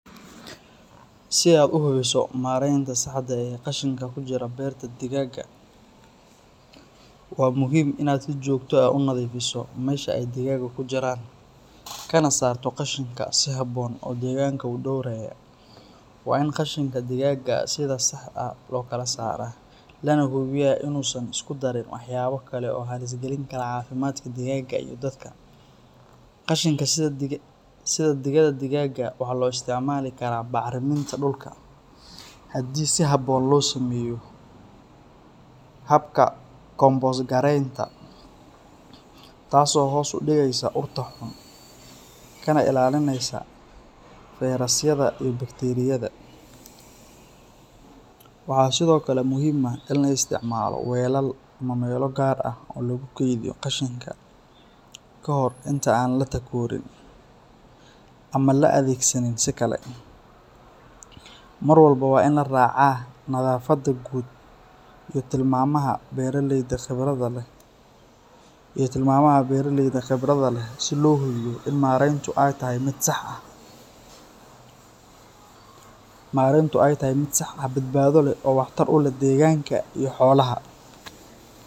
Si aad u hubiso maraynta saxda ah ee qashinka ku jira berta digaagga, waa muhiim inaad si joogto ah u nadiifiso meesha ay digaaggu ku jiraan, kana saarto qashinka si habboon oo deegaanka u dhowranaya. Waa in qashinka digaagga sida saxda ah loo kala saaraa, lana hubiyaa inuusan isku darin waxyaabo kale oo halis gelin kara caafimaadka digaagga iyo dadka. Qashinka sida digada digaagga waxaa loo isticmaali karaa bacriminta dhulka haddii si habboon loo sameeyo habka kompost gareynta, taas oo hoos u dhigaysa urta xun kana ilaalinaysa fayrasyada iyo bakteeriyada. Waxaa sidoo kale muhiim ah in la isticmaalo weelal ama meelo gaar ah oo lagu keydiyo qashinka kahor inta aan la takoorin ama la adeegsanin si kale. Mar walba waa in la raacaa nadaafadda guud iyo tilmaamaha beeraleyda khibradda leh si loo hubiyo in marayntu ay tahay mid sax ah, badbaado leh oo waxtar u leh deegaanka iyo xoolaha.